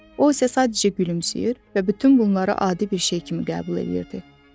O isə sadəcə gülümsəyir və bütün bunları adi bir şey kimi qəbul edirdi.